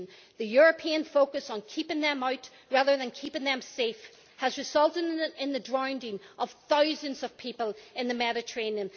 in. The European focus on keeping them out rather than keeping them safe has resulted in in the drowning of thousands of people in the Mediterranean.